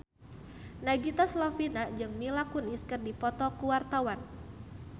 Nagita Slavina jeung Mila Kunis keur dipoto ku wartawan